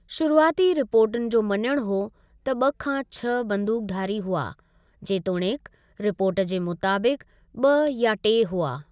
शुरुआति रिपोर्टुनि जो मञणु हो त ब॒ खां छह बंदूकधारी हुआ, जेतोणीकि रिपोर्ट जे मुताबिक़ु ब॒ या टे हुआ।